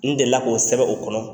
N deli la k'o sɛbɛ o kɔnɔ.